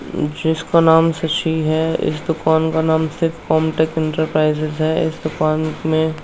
जिसका नाम शशि है। इस दुकान का नाम शिव कॉम्टेक इंटरप्राइजेज है। इस दुकान में --